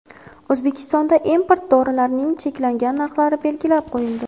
O‘zbekistonda import dorilarning cheklangan narxlari belgilab qo‘yildi.